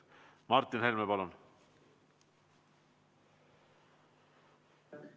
Martin Helme, palun!